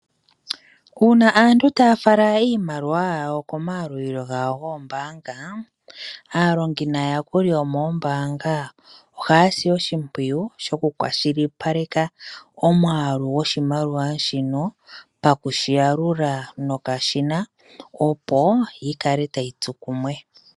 Uuna aantu taya fala iimaliwa yawo komayalulilo gawo goombaanga, aalongi naayakuli yomoombaanga ohaya si oshimpwiyu shokukwashilipaleka omwaalu goshimaliwa shino paku shi yalula nokashina, opo yi kale tayi tsu kumwe.